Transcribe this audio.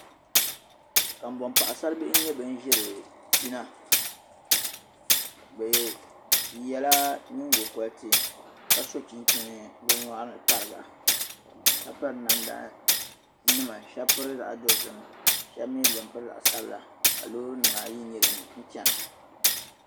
Kambɔŋ' paɣisaribihi n-nyɛ ban ʒiri pina bɛ yɛla nyingɔriti ka so chinchina bɛ nyɔɣiri tariga ka piri namdanima shɛba piri zaɣ' dɔzim ka shɛba mi piri zaɣ' sabila ka loorinima ayi nyɛ din chana